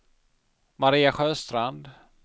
Maria Sjöstrand